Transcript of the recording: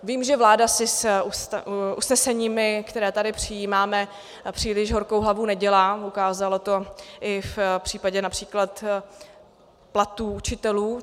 Vím, že vláda si s usneseními, které tady přijímáme, příliš horkou hlavu nedělá, ukázala to i v případě například platů učitelů.